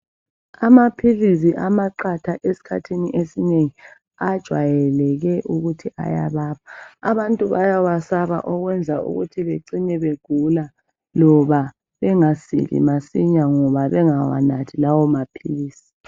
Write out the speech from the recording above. Amaphilisi amaqatha esikhathini esinengi ajwayeleke ukuthi ayababa. Abantu bayawasaba okwenza ukuthi bacine begula loba engasili masinya ngoba bengawanathi lawo maphilisi.